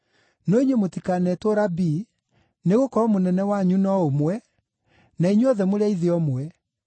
“No inyuĩ mũtikanetwo ‘Rabii’, nĩgũkorwo Mũnene wanyu no ũmwe, na inyuothe mũrĩ a ithe ũmwe.